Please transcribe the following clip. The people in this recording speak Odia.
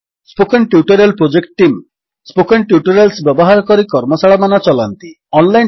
spoken tutorial project team spoken tutorials ବ୍ୟବହାର କରି କର୍ମଶାଳାମାନ ଚଲାନ୍ତି